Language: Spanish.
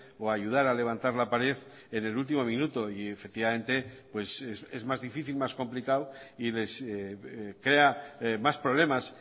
o a ayudar a levantar la pared en el último minuto y efectivamente es más difícil más complicado y crea más problemas